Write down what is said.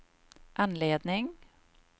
anledning